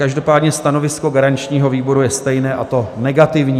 Každopádně stanovisko garančního výboru je stejné, a to negativní.